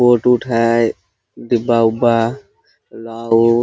Coat उट है डिब्बा उब्बा लाओ।